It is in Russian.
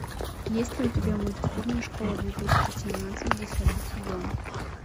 есть ли у тебя мультфильм школа две тысячи семнадцать десятый сезон